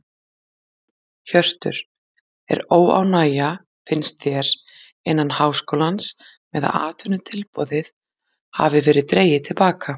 Hjörtur: Er óánægja finnst þér innan háskólans með að atvinnutilboðið hafi verið dregið til baka?